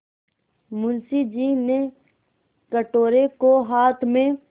मुंशी जी ने कटोरे को हाथ में